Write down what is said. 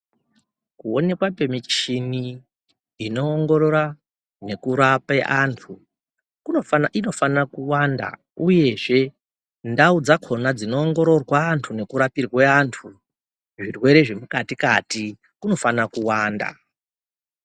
Kuonekwa kwemichini inoongorora nekurape antu inofanira kuwanda uyezve ndau dzakhona dzinoongororwa antu nekurapirwe antu zvirwere zvemukati-kati kunofanira kuwanda.